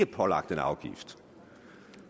pålagt en afgift